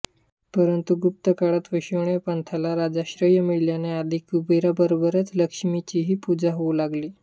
परंतु गुप्तकाळात वैष्णव पंथाला राजाश्रय मिळाल्याने आधी कुबेराबरोबरच लक्ष्मीचीही पूजा होऊ लागली